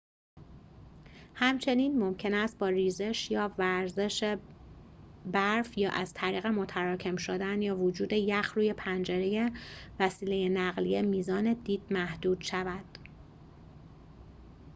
همچنین ممکن است با ریزش یا وزش برف یا از طریق متراکم شدن یا وجود یخ روی پنجره وسیل نقلیه میزان دید محدود شود